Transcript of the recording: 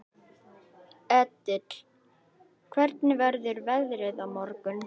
Edil, hvernig verður veðrið á morgun?